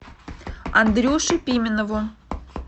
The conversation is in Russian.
андрюше пименову